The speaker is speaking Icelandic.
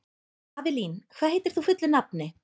Avelín, hvað heitir þú fullu nafni?